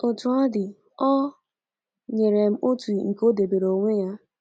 Otú ọ dị, o nyere m otu nke o debeere onwe ya.